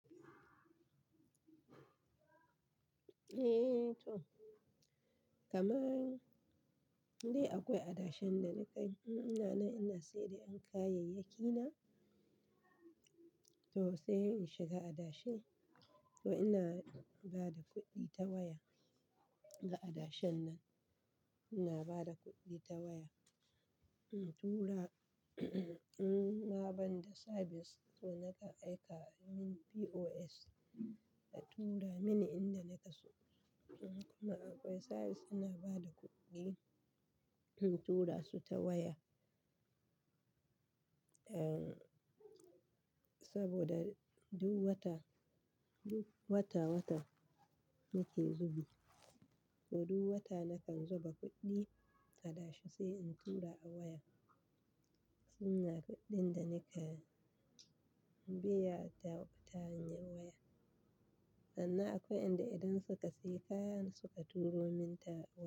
Eh to, kamar dai akwai adashan da nika ina na, ina sayar da 'yan kayayyaki na. To sai in shiga adashen, to ina ba da kuɗi ta waya ga adashan nan. Ina ba da kuɗi ta waya, in tura in ma ban da sabis to nakan aika min POS a tura mini inda nake so. Kuma akwai sabis suna ba da kuɗi, in tura su ta waya. Ehm, saboda duk wata, duk wata-wata nake zubi. To duk wata nakan zuba kuɗi adashe sai in tura a waya. Anya kuɗin da nika biya ta hanyar waya. Sannan akwai inda idan suka sayi kaya suka turo min ta waya.